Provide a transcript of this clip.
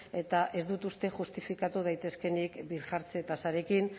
eta ez dut uste justifikatu daitezkeenik birjartze tasarekin